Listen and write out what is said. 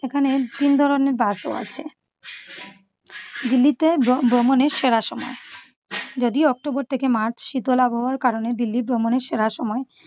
এখানে তিন ধরনের bus ও আছে। দিল্লিতে ভ্রমণের সেরা সময় যদিও october থেকে march শীতল আবহাওয়ার কারণে দিল্লি ভ্রমণের সেরা সময় ।